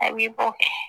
A b'i bɔ